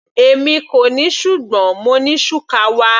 Èmi kò ní ṣùgbọ́n mo ní shukawa.